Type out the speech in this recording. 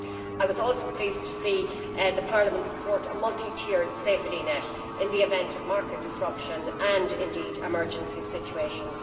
I was also pleased to see Parliament support a multi tiered safety net in the event of market disruption and, indeed, emergency situations.